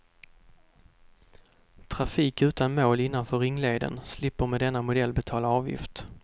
Trafik utan mål innanför ringleden slipper med denna modell betala avgift.